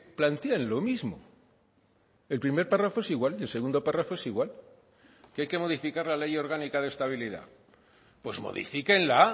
plantean lo mismo el primer párrafo es igual y el segundo párrafo es igual que hay que modificar la ley orgánica de estabilidad pues modifíquenla